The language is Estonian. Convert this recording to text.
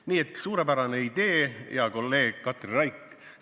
Nii et suurepärane idee, hea kolleeg Katri Raik!